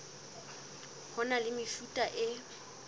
ho na le mefuta e